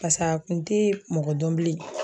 pas'a kun te mɔgɔ dɔn bilen